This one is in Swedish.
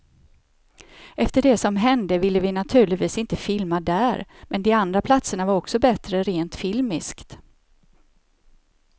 Efter det som hände ville vi naturligtvis inte filma där, men de andra platserna var också bättre rent filmiskt.